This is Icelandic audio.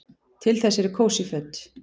Til þess eru kósí föt.